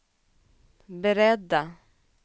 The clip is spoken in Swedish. beredda